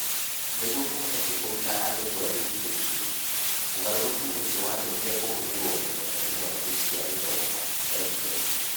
Nĩguo kũhoteke kũruta andũ kũraihu kũingĩ, ũgarũrũku ũcio watũmire kũhũthĩrwo mũno tekinoronjĩ cia gĩthomo (EdTech).